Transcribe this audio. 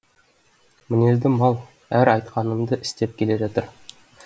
мінезді мал әзір айтқанымды істеп келе жатыр